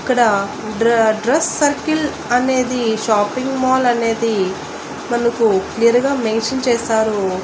ఇక్కడ డ్ర dress circle అనేది షాపింగ్ మాల్ అనేది మనకు నేరుగా మెన్షన్ చేశారు.